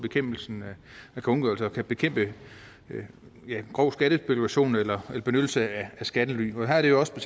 og bekæmpe grov skattespekulation eller benyttelse af skattely her er det jo også